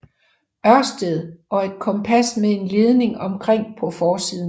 Ørsted og et kompas med en ledning omkring på forsiden